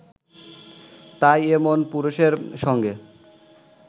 তাই এমন পুরুষের সঙ্গে